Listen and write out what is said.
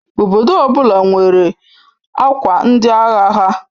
Obodo ọbụla nwere akwa ndi agha ha.